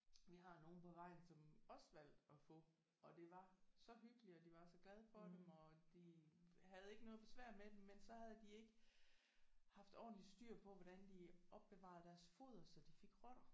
Vi har nogen på vejen som også valgte at få og det var så hyggeligt og de var så glade for dem og de havde ikke noget besvær med dem men så havde de ikke haft ordentlig styr på hvordan de opbevarede deres foder så de fik rotter